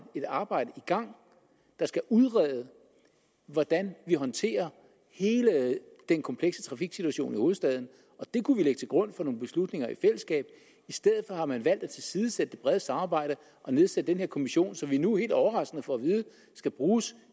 et arbejde i gang der skal udrede hvordan vi håndterer hele den komplekse trafiksituation i hovedstaden og det kunne vi lægge til grund for nogle beslutninger i fællesskab i stedet for har man valgt at tilsidesætte det brede samarbejde og nedsætte den her kommission som vi nu helt overraskende får at vide skal bruges